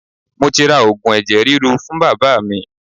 Mo ti ra Ògùn ẹ̀jẹ̀ ríru fún Bàbá mi.